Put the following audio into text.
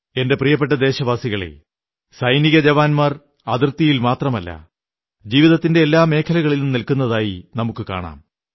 എന്റെ പ്രിയപ്പെട്ട ദേശവാസികളേ സൈനികജവാന്മാർ അതിർത്തിയിൽ മാത്രമല്ല ജീവിതത്തിന്റെ എല്ലാ മേഖലകളിലും നിൽക്കുന്നതായി നമുക്കു കാണാം